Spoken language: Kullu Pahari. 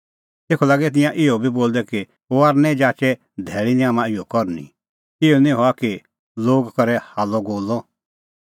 तेखअ तिंयां इहअ बी लागै बोलदै कि जाचे धैल़ी निं हाम्हां इहअ करनी इहअ निं हआ कि लोग करे हाल्लअगोल्लअ